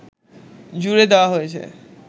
জুড়ে দেওয়া হয়েছে